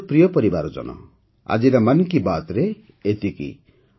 ମୋର ପ୍ରିୟ ପରିବାରଜନ ଆଜିର ମନ୍ କି ବାତ୍ରେ ଏତିକି